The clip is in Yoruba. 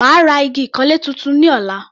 Màá ra igi ìkanlé tuntun ní ọ̀la.